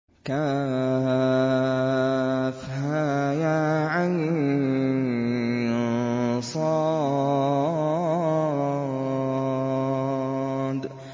كهيعص